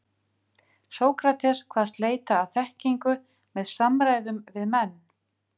Sókrates kvaðst leita að þekkingu með samræðum við menn.